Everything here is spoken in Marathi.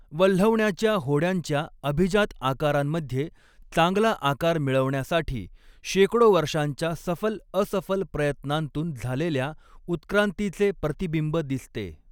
वल्हवण्याच्या होड्यांच्या अभिजात आकारांमध्ये चांगला आकार मिळवण्यासाठी शेकडो वर्षांच्या सफल असफल प्रयत्नांतून झालेल्या उत्क्रांतीचे प्रतिबिंब दिसते.